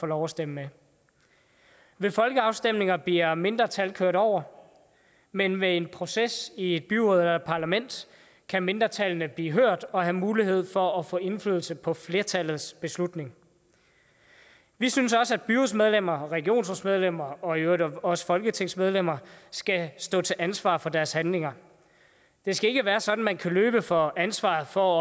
lov at stemme med ved folkeafstemninger bliver mindretal kørt over men ved en proces i et byråd eller et parlament kan mindretallene blive hørt og have mulighed for at få indflydelse på flertallets beslutning vi synes også at byrådsmedlemmer og regionsrådsmedlemmer og i øvrigt også folketingsmedlemmer skal stå til ansvar for deres handlinger det skal ikke være sådan at man kan løbe fra ansvaret for